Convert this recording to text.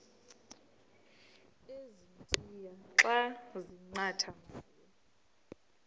ezintia xa zincathamayo